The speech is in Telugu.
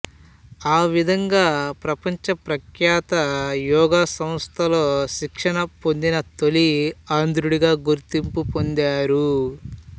ఆ విధంగా ప్రపంచ ప్రఖ్యాత యోగా సంస్థల్లో శిక్షణ పొందిన తొలి ఆంధ్రుడిగా గుర్తింపు పొందారు